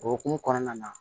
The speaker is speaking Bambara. O hokumu kɔnɔna na